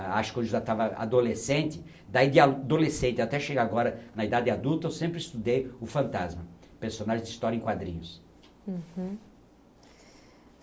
Acho que quando eu já estava adolescente, daí de adolescente até chegar agora na idade adulta, eu sempre estudei o Fantasma, personagem de história em quadrinhos. Uhum